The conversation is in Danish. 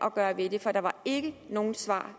at gøre ved det for der var ikke noget svar